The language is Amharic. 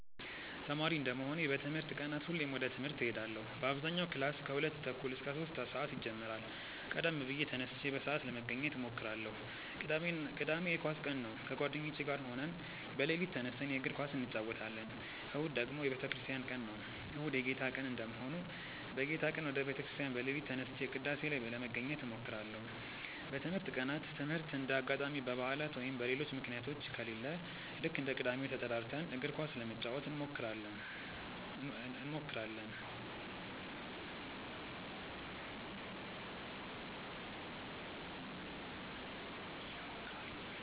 ተማሪ እንደመሆኔ በትምህርት ቀናት ሁሌም ወደ ትምህርት እሄዳለው በአብዛኛው ክላስ ከሁለት ተኩል እስከ ሶስት ሰአት ይጀምራል ቀደም ብዬ ተነስቼ በሰአት ለመገኘት እሞክራለው። ቅዳሜ የኳስ ቀን ነው ከጓደኞቼ ጋር ሆነን በሌሊት ተነስተን የእግር ኳስ እንጨወታለን። እሁድ ደግሞ የቤተክርስቲያን ቀን ነው። እሁድ የጌታ ቀን እንደመሆኑ በጌታ ቀን ወደ ቤተ ክርስቲያን በሌሊት ተነስቼ ቅዳሴ ላይ ለመገኘት እሞክራለው። በትምህርት ቀናት ትምህርት እንደ አጋጣሚ በባዕላት ወይም በሌሎች ምክንያቶች ከሌለ ልክ እንደ ቅዳሜው ተጠራርተን እግር ኳስ ለመጫወት እንሞክራለው።